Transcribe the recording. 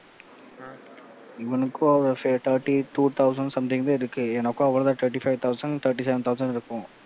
இவனுக்கும் thirty two thousand something தான் இருக்கும். எனக்கும் அவ்வளவு தான் thirty five thousand thirty seven thousand இருக்கும்.